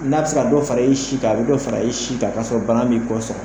N'a bɛ se ka dɔ fara i si ka a bɛ dɔ fara i si ka kasɔrɔ bana m'i kɔ sɔrɔ